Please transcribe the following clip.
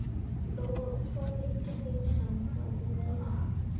Lóa: Og hvar liggur þín sannfæring í dag?